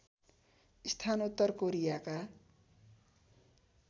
स्थान उत्तर कोरियाका